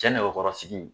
Cɛ nɛgɛkɔrɔsigi